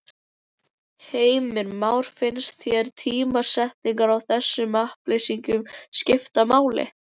Heimir Már: Finnst þér tímasetningin á þessum upplýsingum skipta máli?